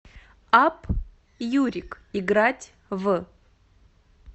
апп юрик играть в